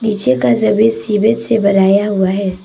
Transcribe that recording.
पीछे का जमीन सीमेंट से बनाया हुआ है।